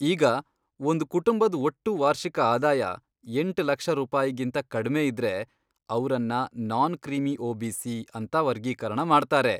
ಈಗ, ಒಂದ್ ಕುಟುಂಬದ್ ಒಟ್ಟು ವಾರ್ಷಿಕ ಆದಾಯ ಎಂಟ್ ಲಕ್ಷ ರೂಪಾಯಿಗಿಂತಾ ಕಡ್ಮೆ ಇದ್ರೆ, ಅವ್ರನ್ನ ನಾನ್ ಕ್ರೀಮಿ ಒಬಿಸಿ ಅಂತಾ ವರ್ಗೀಕರಣ ಮಾಡ್ತಾರೆ.